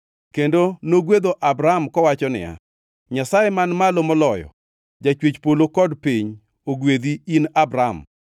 kendo nogwedho Abram kowacho niya, “Nyasaye Man Malo Moloyo, Jachwech polo kod piny ogwedhi, in Abram.